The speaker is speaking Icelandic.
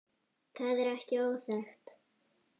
Það er ekki óþekkt.